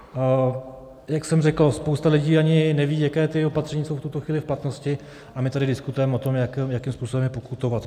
Jak jsem řekl, spousta lidí ani neví, jaká ta opatření jsou v tuto chvíli v platnosti, a my tady diskutujeme o tom, jakým způsobem je pokutovat.